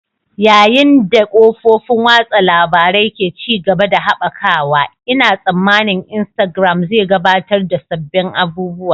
Yayin da kafofin watsa labarun ke ci gaba da haɓakawa, Ina tsammanin Instagram zai gabatar da sabbin abubuwa.